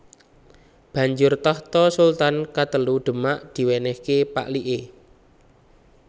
Banjur tahta sultan katelu Demak diwènèhké pak liké